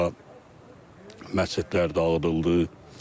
Burada məscidlər dağıdıldı.